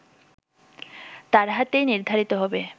তার হাতেই নির্ধারিত হবে